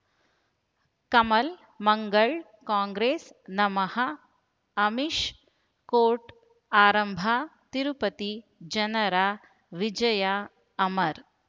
ಕಮಲ್ ಮಂಗಳ್ ಕಾಂಗ್ರೆಸ್ ನಮಃ ಅಮಿಷ್ ಕೋರ್ಟ್ ಆರಂಭ ತಿರುಪತಿ ಜನರ ವಿಜಯ ಅಮರ್